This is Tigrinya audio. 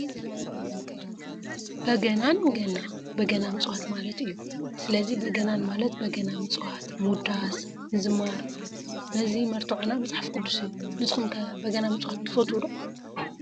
በጋናን ገና: በገና ምፅዋት ማለት እዩ። ስለዚ በገናን ማለት በገና ምፅዋት፣ ምውዳስ፣ ምዝማር... ነዚ መርትዖና መፅሓፍ ቅዱስ እዩ። ንስኩም ከ በገና ምፅዋት ትፈትው ዶ ?